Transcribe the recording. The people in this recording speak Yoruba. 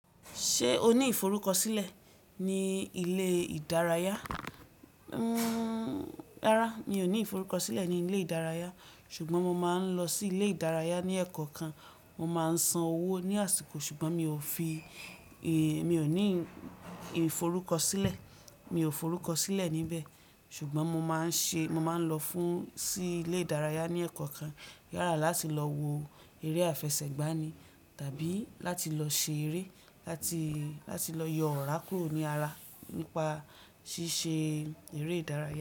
Ṣé o ní ìforúkọsílẹ̀ ní ilé ìdárayá? Rárá, mi ò ní ìforúkọsílẹ̀ ní ilé ìdárayá ṣùgbọ́n mo máa ń lọ sí ilé ìdárayá ní ẹ̀kọ̀kan. Mo máa ń san owó ní àsìkò ṣùgbọ́n mi ò fi, èé mi ò ní ìforúkọsílẹ̀. Mi ò forúkọ sílẹ̀ níbẹ̀ ṣùgbọ́n mo máa ń ṣe, mo máa ń lọ fún, sí ilé ìdárayá ní ẹ̀kọ̀kan. Yálá láti lọ wo eré àfẹsẹ̀gbá ni tàbí láti lọ ṣe eré, láti, láti lọ yọ ọ̀rá kúrò ní ara nípa ṣíṣe eré ìdárayá.